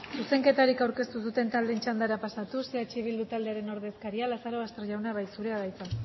zuzenketarik aurkeztu ez duten txandara pasatuz eh bildu taldearen ordezkaria lazarobaster jauna zurea da hitza